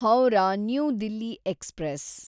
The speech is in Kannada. Howrah new Delhi express